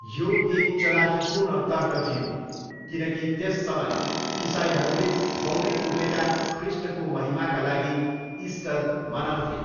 यो एक चलाखीपूर्ण तर्क थियो, किनकि त्यस समय, इसाईहरूले बौरिउठेका ख्रीष्टको महिमाका लागि इस्टर मनाउँथे।